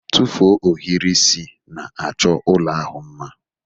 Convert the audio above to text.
Tụfuo ohiri isi na-achọ ụlọ ahụ mma